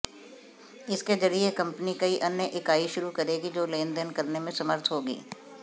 इसके जरिये कंपनी कई अन्य इकाई शुरू करेगी जो लेनदेन करने में समर्थ होगी